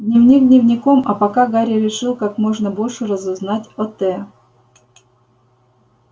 дневник дневником а пока гарри решил как можно больше разузнать о т